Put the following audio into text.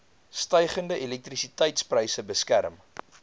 stygende elektrisiteitspryse beskerm